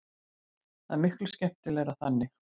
Það er miklu skemmtilegra þannig.